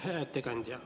Hea ettekandja!